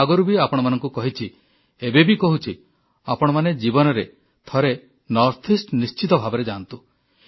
ମୁଁ ଆଗରୁ ବି ଆପଣମାନଙ୍କୁ କହିଛି ଏବେବି କହୁଛି ଆପଣମାନେ ଜୀବନରେ ଥରେ ଉତ୍ତର ପୂର୍ବ ଭାରତକୁ ନିଶ୍ଚିତ ଭାବେ ଯାଆନ୍ତୁ